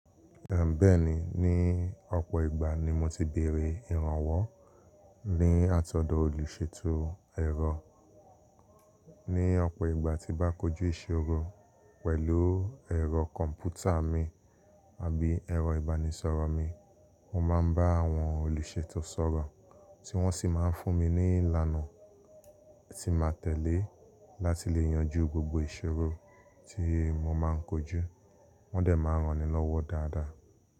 Bẹ́ẹ̀ni, ní ọ̀pọ̀ ìgbà ni mo ti bèèrè ìrànwọ́ ní àtọ̀dọ̀ olùṣètò ẹ̀rọ. Ní ọ̀pọ̀ ìgbà tí bá kojú ìṣòro pẹ̀lú ẹ̀rọ kọ̀m̀pútà mi àbí ẹ̀rọ ìbánisọ̀rọ̀ mi, mo máa ń bá àwọn olùṣètò sọ̀rọ̀, tí wọ́n sì máa ń fún mi ní ìlànà tí n máa tẹ̀lé láti lè yanjú gbogbo ìṣòro tí mo máa ń kojú. Wọ́n dẹ̀ máa ń ranni lọ́wọ́ dáadáa.